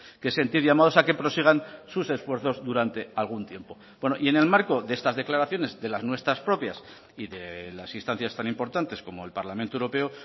que sentir llamados a que prosigan sus esfuerzos durante algún tiempo y en el marco de estas declaraciones de las nuestras propias y de las instancias tan importantes como el parlamento europeo